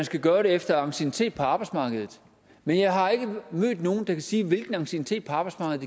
skal gøres efter anciennitet på arbejdsmarkedet men jeg har ikke mødt nogen der kan sige efter hvilken anciennitet på arbejdsmarkedet